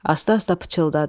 Asta-asta pıçıldadı: